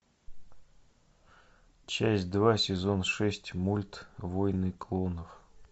часть два сезон шесть мульт войны клонов